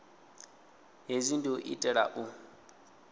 hezwi ndi u itela u